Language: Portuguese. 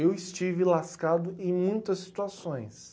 Eu estive lascado em muitas situações.